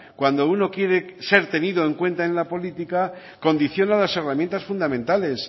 cuando uno quiere ser tenido en cuenta en la política condiciona las herramientas fundamentales